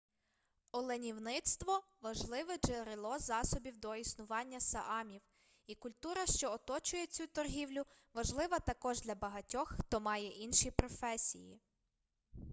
оленівництво важливе джерело засобів до існування саамів і культура що оточує цю торгівлю важлива також для багатьох хто має інші професії